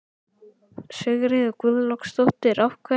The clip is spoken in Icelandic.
Sigríður Guðlaugsdóttir: Af hverju?